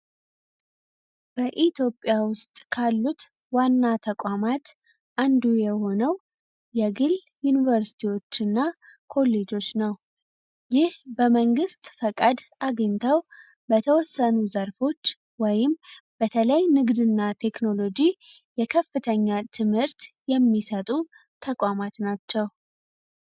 በኢትዮጵያ ውስጥ ካሉት ዋና ተቋማት አንዱ የሆነው የግል ዩኒቨርስቲዎች እና ኮሌጆች ነው ይህ በመንግሥት ፈቃድ አግኝታው በተወሰኑ ዘርፎች ወይም በተላይ ንግድ ና ቴክኖሎጂ የከፍተኛ ትምህርት የሚሰጡ ተቋማት ናቸው